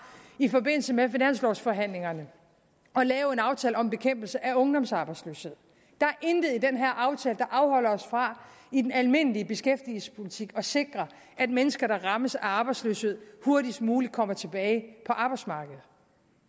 i forbindelse med finanslovforhandlingerne at lave en aftale om bekæmpelse af ungdomsarbejdsløshed der er intet i den her aftale der afholder os fra i den almindelige beskæftigelsespolitik at sikre at mennesker der rammes af arbejdsløshed hurtigst muligt kommer tilbage på arbejdsmarkedet